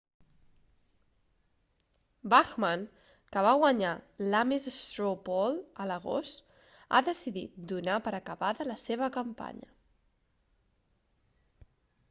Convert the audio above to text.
bachmann que va guanyar l'ames straw poll a l'agost ha decidit donar per acabada la seva campanya